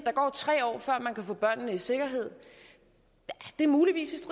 gå tre år før man kan få børnene i sikkerhed muligvis